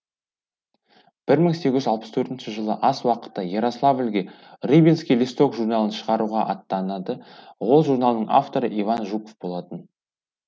бір мың сегіз жүз алпыс төртінші жылы аз уақытқа ярославльге рыбинский листок журналын шығаруға аттанады ол журналдың авторы иван жуков болатын